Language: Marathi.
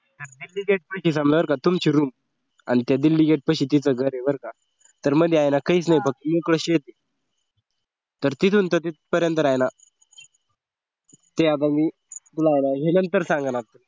दिल्ली gate माहितेय का बर का तुमची रूम आणि त्या दिल्ली gate पाशी तीच घर आहे बर का तर मध्ये आहे ना काहीच नाही बघ मोकळं शेत तर तिथून तर तिथपर्यंत आहे ना ते आता मी तुला नंतर सांगण